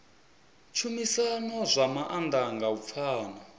tshumisano zwa maanḓa nga u pfana